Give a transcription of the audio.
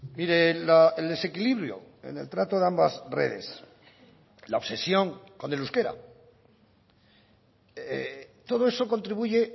mire el desequilibrio en el trato de ambas redes la obsesión con el euskera todo eso contribuye